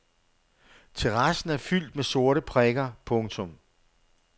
Terrassen er fyldt med sorte prikker. punktum